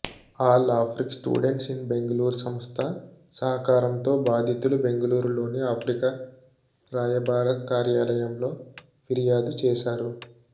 all African students in Bengaluru సంస్థ సహకారంతో బాధితులు బెంగళూరులోని ఆఫ్రికా రాయబార కార్యాలయంలో ఫిర్యాదు చేశారు